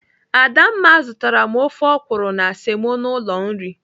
Adamma zụtara m ofe ọkwụrụ na semo n'ụlọ nri.